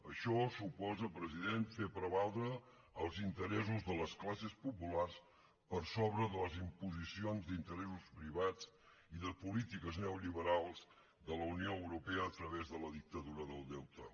això suposa president fer prevaldre els interessos de les classes populars per sobre de les imposicions d’interessos privats i de polítiques neoliberals de la unió europea a través de la dictadura del deute